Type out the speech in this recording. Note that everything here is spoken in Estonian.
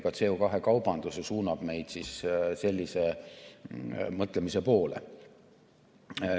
Ka CO2 kaubandus suunab meid sellise mõtlemise poole.